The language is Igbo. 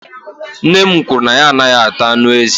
nne m kwuru na ya anaghị ata anụ ezi